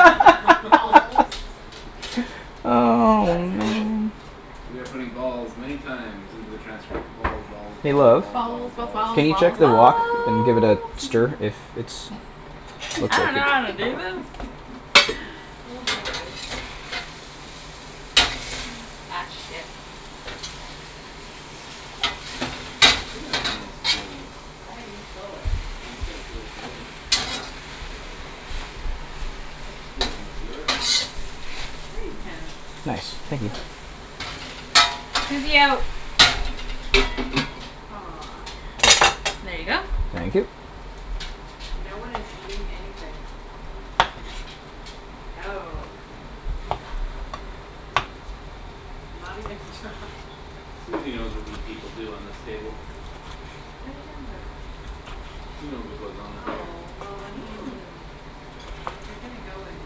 Balls Oh, That's cool. man. We are putting balls many times into the transcript: balls, balls, Hey, balls, love. balls, balls, Balls, balls, balls, Can you balls, check balls. the balls wok? And give it a stir if it's I dunno how to do this. Oh, boy. Ak, shit. Hey, get out of my stealings. Hey, you stole it. Well, you can't steal it from me. You can't steal from the stealer. Sure you can, Nice, like thank you. this. Susie, out. Aw. There you go. Thank you. No one is eating anything. No. Not even Josh. Susie knows what we people do on this table. What are you talking about? She knows what goes on up here. Oh, well, I mean if you're gonna go and do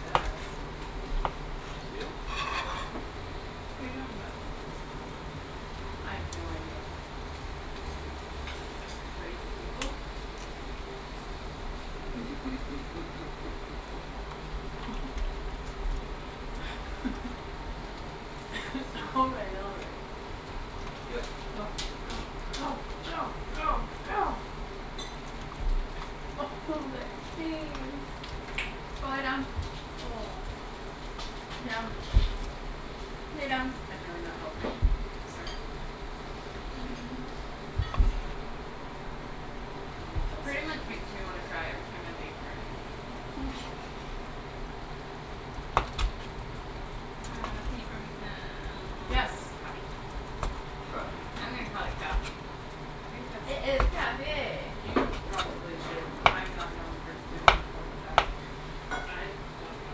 that. Steal? What are you talking about? I have no idea. You crazy people. All Susie. right, all right. Do it. Go, go, Right. go, go, go, go. Oh, that face. Go lay down. Aw. Down. Lay down. I'm really not helping. I'm sorry. Pretty much makes me wanna cry every time I leave her. Uh, can you pour me some Yes. coffee? Coffee. I'm gonna call it coffee. I think that's It is coffee. You probably should. I'm not known for doing well at that. I don't know.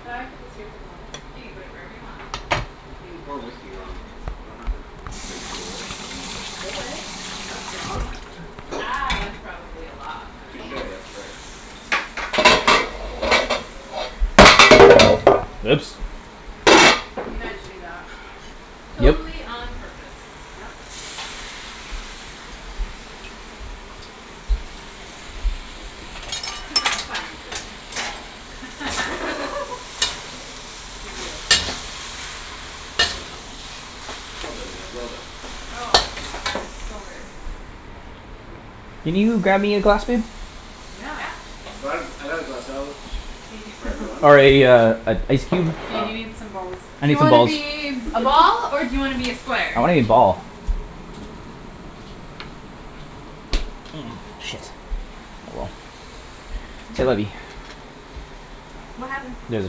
Can I put this here for the moment? You can put it wherever you want. How can you pour whiskey wrong? You don't have to ratio it. You could spill it; that's wrong. Ah, that's probably a lot, but. Touche, that's right. Oops. You meant to do that. Yep. Totally on purpose. Yep. To my fine cooking skills. Hear, hear. Well done, Ped, well done. Oh, god, that is so good. Can you grab me a glass, babe? Yeah. Yeah. I brought a, I got a glass out Hey for everyone. Or a, uh, an ice cube? Yeah, you need some Um balls. I Do need you some wanna balls. be a ball or do you wanna be a square? I wanna be ball. Ah, shit. Oh, well. C'est la vie. What happened? There's a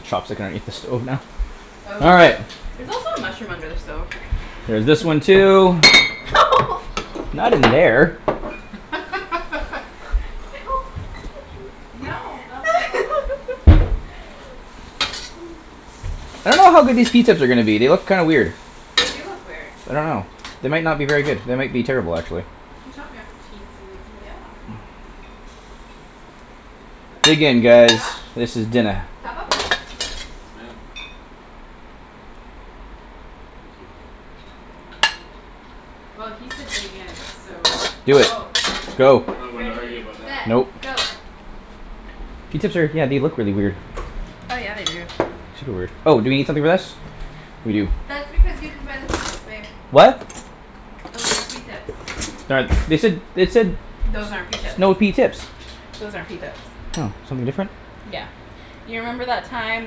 chopstick underneath the stove now. Oh, All right. there's also a mushroom under the stove. There's this one too. Not in there. Don't touch me. No, not at all. I don't know how good these pea tips are gonna be; they look kind weird. They do look weird. I don't know. They might not be very good. They might be terrible, actually. Can you top me off a teensy weensy bit? Yeah. That's Dig good, in thank guys, Josh, you. this is dinna. top up? Yes, ma'am. Well, he said dig in, so. Do it, Go. go. I'm not one to argue Ready, about that. set, Nope. go. Pea tips are, yeah, they look really weird. Oh, yeah, they do. Super weird. Oh, do we need something for this? We do. That's because you didn't buy the pea tips, babe. What? Those aren't pea tips. They said, they said Those aren't pea s- tips. snow pea tips. Those aren't pea tips. Oh, something different? Yeah, you remember that time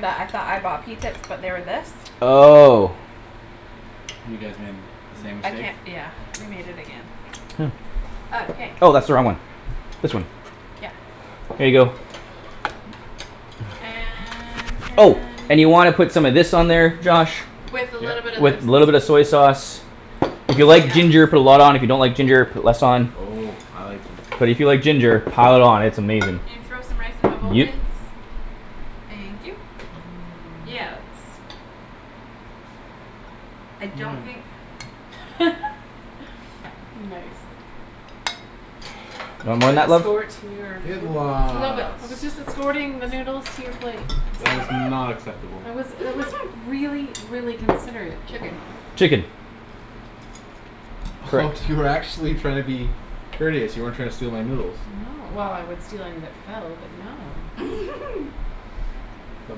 that I thought I bought pea tips but they were this? Oh. You guys made the same I mistake. can't, yeah, we made it again. Oh. Okay. Oh, that's the wrong one. This one. Yeah. Here you go. And can Oh, and you y- wanna put some of this on there, Josh. With a little bit Yep. of this. With little bit of soy sauce. If you like ginger, put a lot on, if you don't like ginger, put less on. Oh, I like ginger. But if you like ginger pile it on; it's amazing. Can you throw some rice in my bowl, please? Yep. Thank you. Yeah, that's I don't think Nice. You want more Can I then that, love? escort your Good noodles? Little bit. I was just escorting the noodles to your plate. That was not acceptable. That was, it was really, really considerate. Chicken. Chicken. Oh you were actually trying to be courteous; you weren't trying to steal my noodles. No, well, I would steal anything that fell but, no. But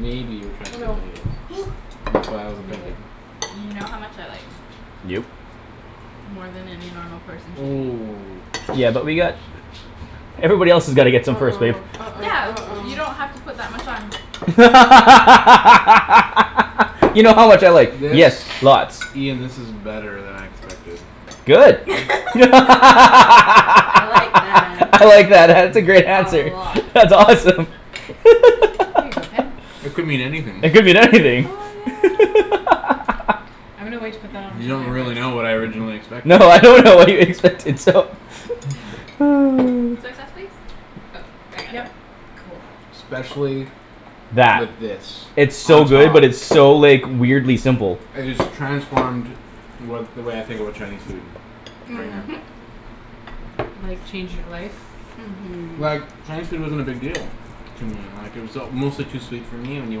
maybe you were trying to Oh, steal no. my noodles. And that's why I was Made offended. it. You know how much I like. Yep. More than any normal person should eat. Ooh. Yeah, but we got Everybody else's gotta get some first, babe. uh-oh, Yeah, uh-oh, you don't have to uh-oh. put that much on. You know how much I like. This, Yes, lots. Ian, this is better than I expected. Good. I'm I I like that answer. like that; that's a great A answer. lot. That's awesome. Here you go, Ped. It could mean anything. It could mean Oh, anything. yeah. I'm gonna wait to put that You onto my don't rice. really know what I originally expected. No, I don't know what you expected, so. Oh. Soy sauce, please. Oh, I got it. Yep. Especially with That. this It's on so good top. but it's so, like weirdly simple. It has transformed what, the way I think about Chinese food. Right now. Mhm. Like change your life? Like, Mhm. Chinese food wasn't a big deal to me. Like it was uh mostly too sweet for me when you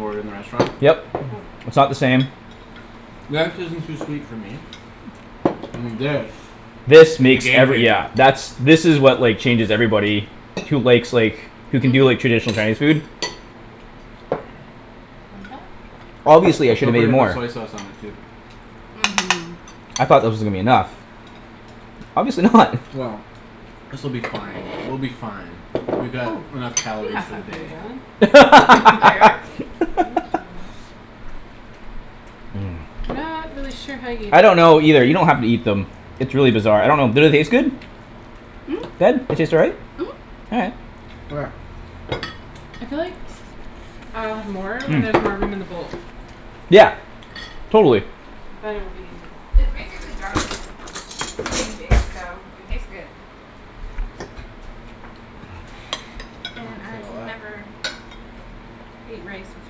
order in the restaurant. Yep, it's not the same. That isn't too sweet for me. And this This The makes game every, changer. yeah, that's, this is what, like, changes everybody who likes, like who can do, like, traditional Mhm. Chinese food. Obviously I should have Don't made forget to put more. soy sauce on it too. Mhm. I thought that was gonna be enough. Obviously not. Well, this will be fine; we'll be fine. Oh, We got can enough you calories pass for that the for me, darling? day. Thank you. Not really sure how you I don't know either; you don't have to eat them. It's really bizarre. I don't know; did it taste good? Ped, they taste all right? Mhm. All right. Where? I feel like I'll have more when there's Hmm. more room in the bowl. Yeah. Totally. Then it will be easier. It's basically garlic and green beans so it tastes good. And I can never eat rice with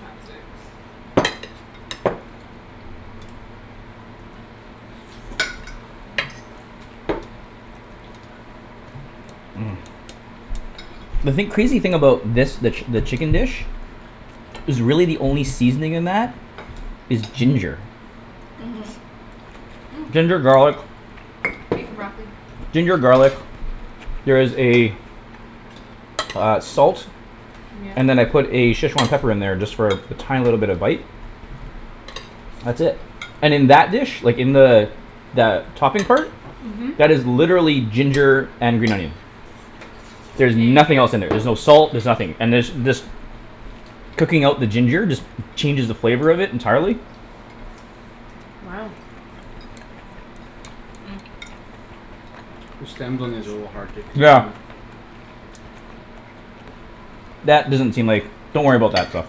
chopsticks. Mmm. The thing, crazy thing about this, the, the chicken dish is really the only seasoning in that is ginger. Mhm. Mm. Ginger, garlic. Beef and broccoli. Ginger, garlic. There is a uh, salt. Yeah. And then I put a Szechwan pepper in there just for a tiny little bit of bite. That's it. And in that dish, like, in the the topping part Mhm. that is literally ginger and green onion. There's Thank nothing else in there. you. There's no salt; there's nothing. And there's, this cooking out the ginger just changes the flavor of it entirely. Wow. The stems on these are a little hard to Yeah. consume. That doesn't seem like, don't worry about that stuff.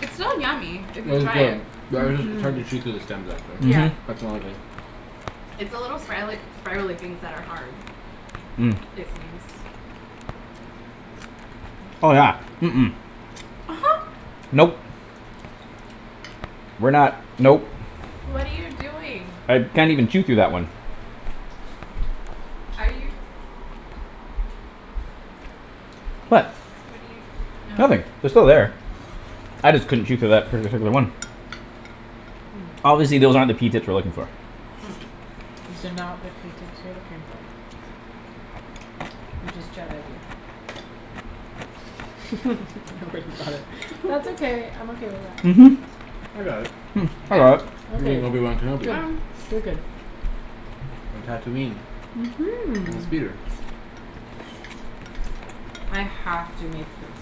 It's still yummy if you Well, it's try good it. but I just, it's Mhm. hard to chew through the stems actually; Yeah. Mhm. that's the only thing It's the little sprialy- spiraly things that are hard. Mm. It seems. Oh, yeah. Mm- mm. Nope. We're not, nope. What are you doing? I can't even chew through that one. Are you What? What are you, Nothing. oh. They're still there. I just couldn't chew through that par- particular one. Obviously those aren't the pea tips we're looking for. That's okay. I'm okay with that. Mhm. I got it. Hmm, I Yeah, got it. You ok, mean Obi Wan yeah, Kenobi. Good. you're Good, good. good. Mhm. I have to make this.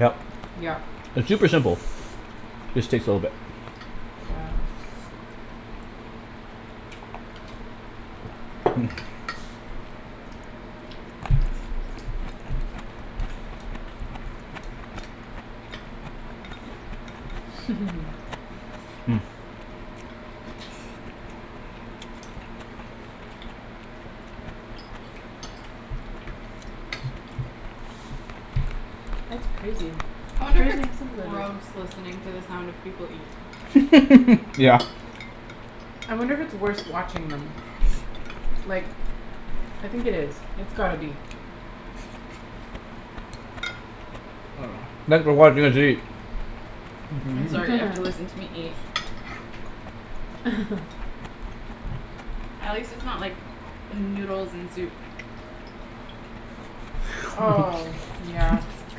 Yep. Yep. It's super simple. Just takes a little bit. Wow. Hmm. That's crazy. I It's wonder if crazy it's how simple it is. gross listening to the sound of people eat. Yeah. I wonder if it's worse watching them. Like I think it is; it's gotta be. Thanks for watching us eat. I'm sorry you have to listen to me eat. At least its not like noodles and soup. Oh, yeah.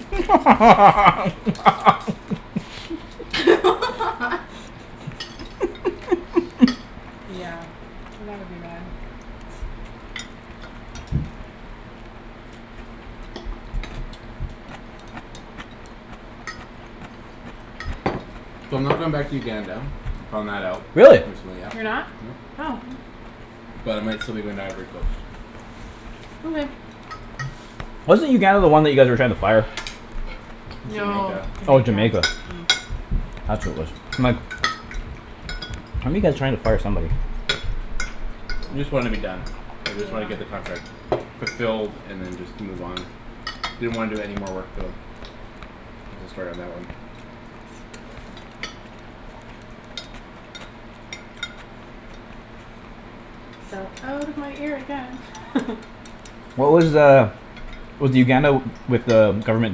Yeah, that would be bad. So I'm not going back to Uganda; I found that out, Really? recently, yeah. You're not? Nope. Oh. But I might still be going to Ivory Coast. Okay. Wasn't Uganda the one that you guys were trying to fire? That's No, Jamaica. Oh, Jamaica. Jamaica. That's what it was. My fire somebody. Just wanna be done. I just wanna get the Yeah. contract fulfilled and then just move on. Didn't wanna do any more work for them There's a story on that one. Fell out of my ear again. What was uh Was the Uganda with uh government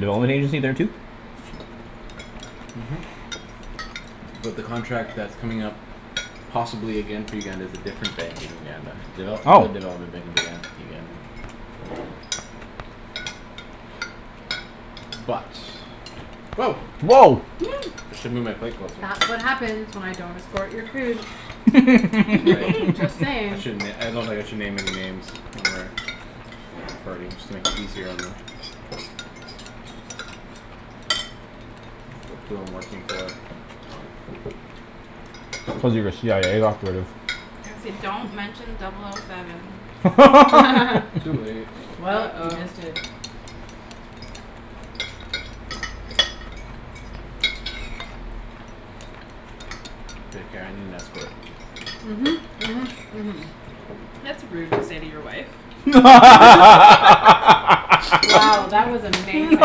development agency there too? Mhm. But the contract that's coming up possibly again for Uganda is a different bank in Uganda. Oh. Uga- Uganda But Woah. I should move my plate closer. That's what happens when I don't escort your food. Right. Just I saying. shouldn- I don't think I should name any names when we're recording, just to make it easier on them. Who I'm working for. Cuz you're a CIA operative. I say don't mention double o seven. Too late. Well, you just uh-oh. did. K, Kara, I need an escort. Mhm, mhm, mhm. That's rude to say to your wife. Wow, that was amazing.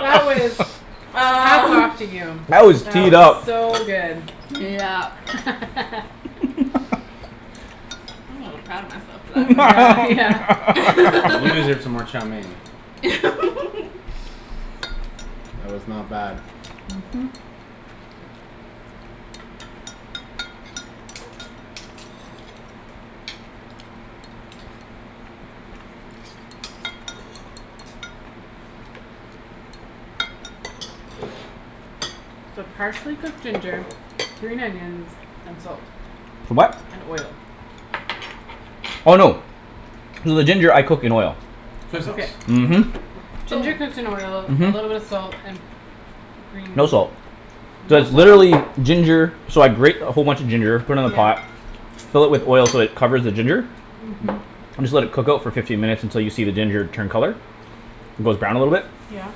That was, hats Uh. off to you. That was That teed was up. so good. Yep. I'm a little proud of myself for that Yeah. You one. deserve some more chow mein. It was not bad. Mhm. So partially cooked ginger, green onions and salt. For what? And oil. Oh, no. So the ginger I cook in oil. Soy Okay. sauce. Mhm. Ginger cooks in oil, a little bit of Mhm. salt and green No salt. No Just salt? literally ginger. So I grate a whole bunch of ginger, put it in a yeah pot. fill it with oil so it covers the ginger Mhm. and just let it cook out for fifteen minutes until you see the ginger turn color. It goes brown a little bit. Yeah.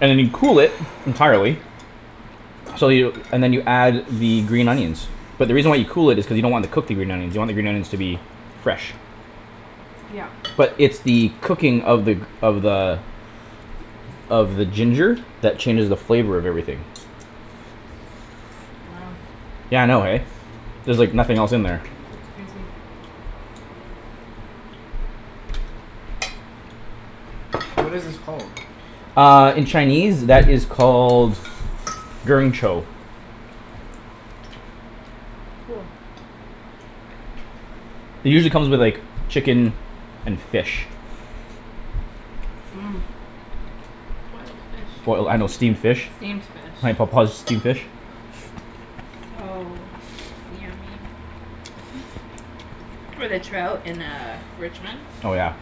And then you cool it entirely so you, and then you add the green onions. But the reason why you cool it is because you don't want to cook the green onions. You want the green onions to be fresh. Yep. But it's the cooking of the, of the of the ginger that changes the flavor of everything. Wow. Yeah, I know, eh? There's, like, nothing else in there. That's crazy. What is this called? Uh, in Chinese that is called Cool. It usually come with, like, chicken and fish. Boiled fish. Boil, I, I know, steamed fish. Steamed fish. steamed fish. With a trout in uh Richmond. Oh, yeah.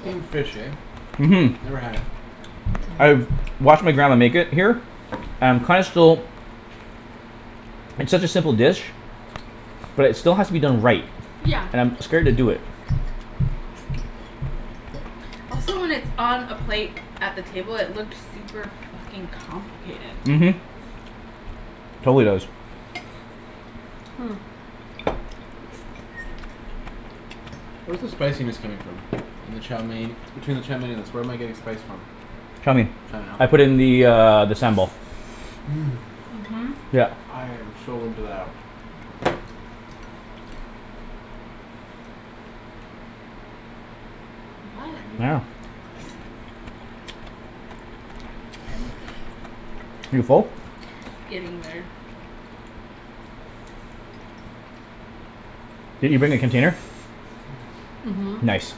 Steamed fish, eh? Mhm. Never had it. I've watched my grandma make it here and kinda still It's such a simple dish. But it still has to be done right. And I'm scared to do it. Also when it's on a plate at the table it look super fuckin' Mhm. complicated. Totally does. Hmm. Where's the spiciness coming from? In the chow mein, between the chow mein and the where am I getting the spice from? Chow mein. Chow I mein, ok. put in the, uh, the sambal. Mmm, Mhm. Yep. I am so into that. Yeah. You full? Getting there. Did you bring a container? Mhm. Nice.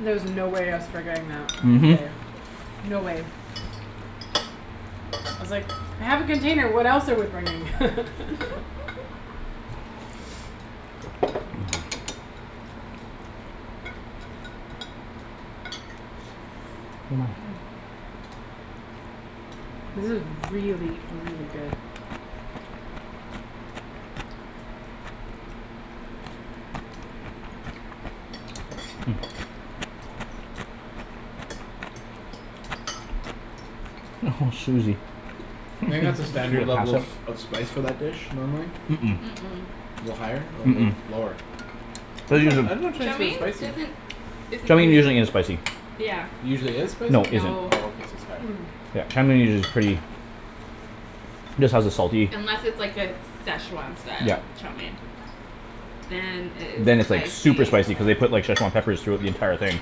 There was no way I was forgetting that Mhm. today. No way. I was like, "I have a container what else are we bringing." This is really, really good. Hmm. Oh, Susie. Do you think that's a standard level of, of spice for that dish, normally? Mm- Mm- mm. mm. A little higher or Mm- little mm. lower? I'm not, I dunno if Chow Chinese food is mein spicy. doesn't isn't Chow mein usually usu- isn't spicy. Yeah. Usually is spicy? No, isn't. No. Oh, okay. So sorry. Mmm. Yeah, chow mein is usu- pretty just has a salty Unless it's, like, a Szechwan style Yep. chow mein. Then it Then is it's, like, super spicy. spicy cuz they put, like, Szechwan peppers throughout the entire thing.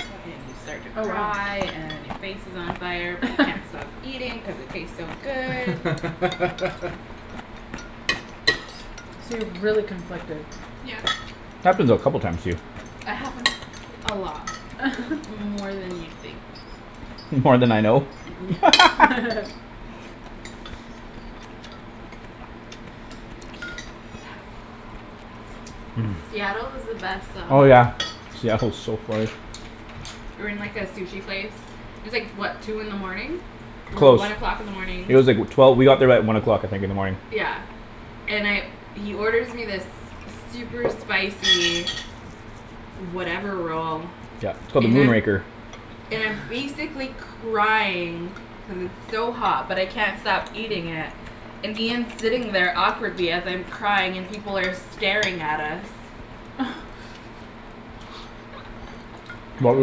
Uh and you start to Oh, wow. cry and your face is on fire but you can't stop eating cuz it tastes so good. So you're really conflicted. Happens a couple of times to you. It happens a lot, more than you'd think. More then I know? Yeah. Mmm. Seattle is the best Oh, Oh, though. yeah. yeah. Seattle's so far. We were in, like, a sushi place. It's, like, what, two in the morning? Or Close. one o'clock in the morning. It was like, wh- twelve, we got there at one o'clock, I think, in the morning. Yeah. And I, he orders me this super spicy whatever roll Yeah, it's called the and Moon I'm, Raker. and I'm basically crying cuz it's so hot but I can't stop eating it and Ian's sitting there awkwardly as I'm crying and people are staring at us. But we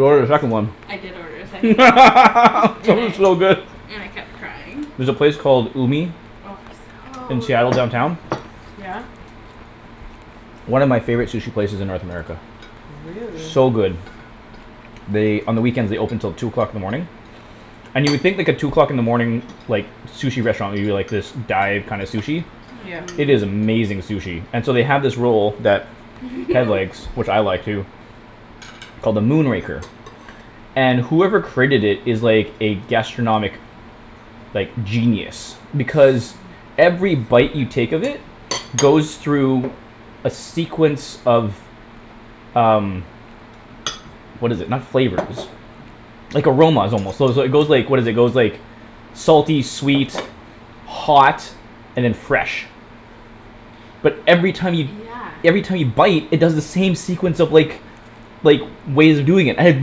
ordered a second one. I did order a second one. That And was I so good. and I kept crying. There's a place called Umi Oh, in so Seattle downtown. yummy. Yeah? One of my favorite sushi places in North America. Really. So good. They, on the weekends they open till two o'clock in the morning. And you would think, like, a two o'clock in the morning like, sushi restaurant would be, like, this dive kinda sushi. Yeah. Mm- It is mm. amazing sushi. And so they have this roll that Ped likes, which I like too called the Moon Raker. And whoever created it is, like, a gastronomic like, genius. Because every bite you take of it goes through a sequence of um what is it, not flavors like, aromas, almost, so is, it goes, like, what is it, it goes, like salty, sweet hot and then fresh. But every time you Yeah. every time you bite it does the same sequence of, like like, ways of doing it. I have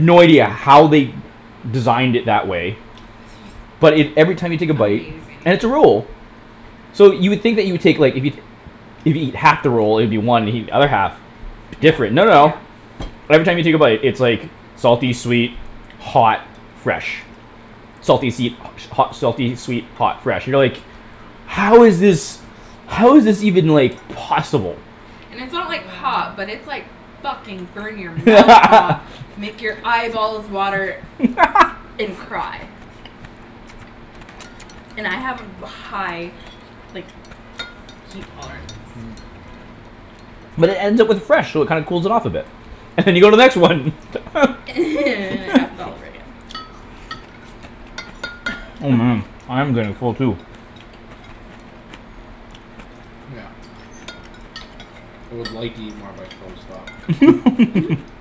no idea how they designed it that way but it, every time you take a bite, Amazing. and it's a roll. So you would think that you would take, like, if you if you eat half the roll, it would be one if you eat the other half. Different, no, no. Every time you take a bite, it's, like salty, sweet, hot fresh. Salty, seed hot, selfie, sweet hot, fresh, you know, like "How is this How is this even, like, possible?" And it's not, like, hot but it's, like, fucking burn-your-mouth hot. Make your eyeballs water and cry. And I have a ba- high like, heat tolerance. But it ends up with fresh so it kinda cools it off a bit. And you go to the next one. And it happens all over again. Oh, man, I'm getting full too. Yeah. I would like to eat more veg, but I'll stop.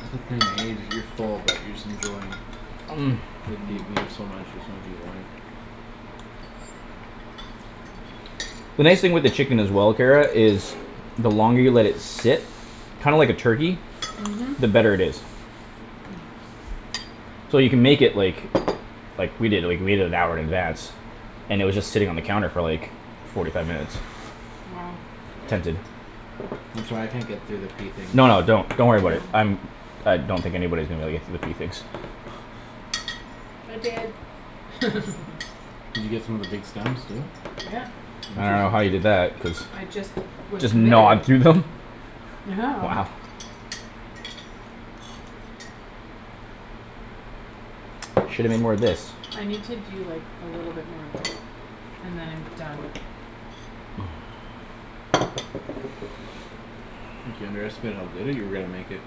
That's the thing, eh? You're full but you're just enjoying The nice thing with the chicken as well, Kara, is the longer you let it sit kinda like a turkey, Mhm. the better it is. So you can make it, like like, we did, like, we made it an hour in advance. And it was just sitting on the counter for, like forty five minutes. Wow. I'm sorry, I can't get through the pea things. No, no, don't, don't worry about it. I'm I don't think anybody's gonna be able to get through the pea tips. I did. Did you get some of the big stems too? Yeah. I don't know how Interesting. you did that cuz I just was Just committed. gnawed through them? Yeah. Wow. Shoulda made more of this. I need to do like a little bit more of this and then I'm done. I think you underestimated how good that you were gonna make it.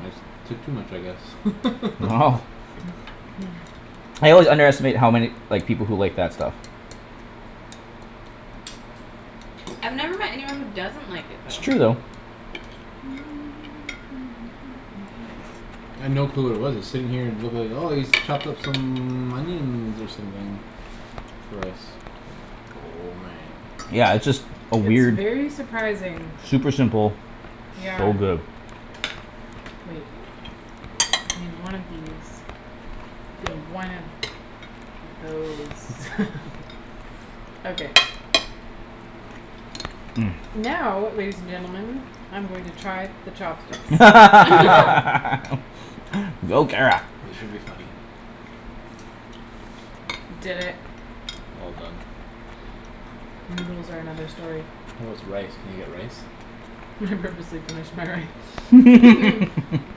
I took too much, I guess. Wow. I always underestimate how many, like, people who like that stuff. I've never met anyone who doesn't like it It's true though. though. I'd no clue what it was. I was sitting here and it looked like, "Oh, he's chopped up some onions or something for us." Oh, man. Yeah, it's just a It's weird very surprising. Super simple Yeah. so good. Wait. I need one of these and one of those. Okay. Mmm. Now, ladies and gentlemen, I'm going to try the chopsticks. Go, Kara. This should be funny. Did it. All done. Noodles are another story. How's rice? Can you get rice? I purposely finished my rice. Mhm.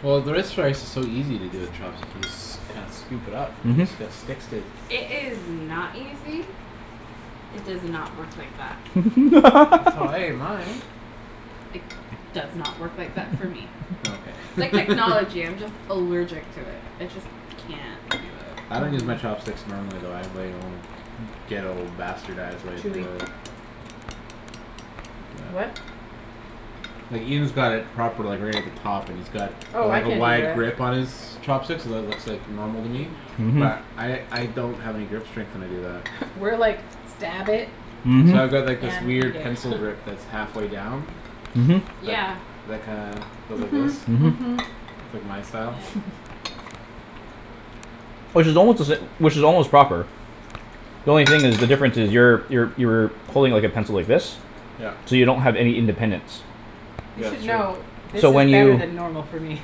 Well, is so easy to do with chopsticks. You just s- kind of scoop it up and Mhm. it just sticks to It is not easy. It does not work like that. That's how I ate mine. It does not work like that for me. Yeah, It's okay. like technology. I'm just allergic to it. I just can't do it. I don't use Hmm. my chopsticks normally though. I have like my own ghetto bastardized way of Chewy. the What? Like, Ian's got it proper, like, right at the top, and it's got, Oh, I like, a can't do wide that. grip on his chopsticks so that looks like normal to me Mhm. but I, I don't have any grip strength when I do that. We're like, "Stab it. Mhm. So I've got like this and eat weird it." pencil grip that's half way down. Mhm. That, Yeah. that kinda goes like this. Mhm, Mhm. mhm. It's like my style. Which is almost to sa- which is almost proper. The only thing is, the difference is, you're, you're, you're pulling, like, a pencil, like this Yep. so you don't have any independence. You Yeah, should it's true. know, this So when is better you than normal for me.